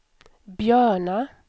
Björna